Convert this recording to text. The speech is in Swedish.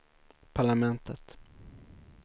parlamentet